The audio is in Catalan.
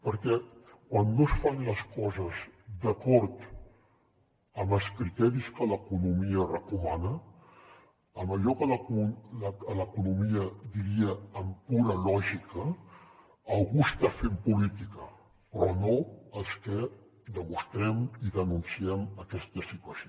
perquè quan no es fan les coses d’acord amb els criteris que l’economia recomana en allò que l’economia diria amb pura lògica algú està fent política però no els que demostrem i denunciem aquesta situació